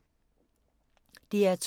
DR2